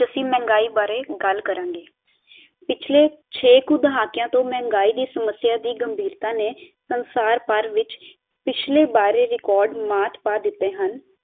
ਅਸੀਂ ਮਹਿੰਗਾਈ ਬਾਰੇ ਗੱਲ ਕਰਾਂਗੇ ਪਿੱਛਲੇ ਛੇ ਕੁ ਦਹਾਕਿਆ ਤੋਂ ਮਹਿੰਗਾਈ ਦੀ ਸੱਮਸਿਆ ਦੀ ਕਮਬੀਰਤਾ ਨੇ ਸੰਸਾਰ ਪਰ ਵਿੱਚ ਪਿੱਛਲੇ ਬਾਰੇ ਰੇਕੋਡ ਮਾਤ ਪਾ ਦਿੱਤੇ ਹਨ